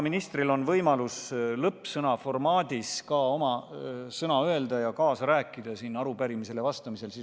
Ministril on võimalus lõppsõnaformaadis ka oma sõna öelda ja kaasa rääkida arupärimisele vastamisel.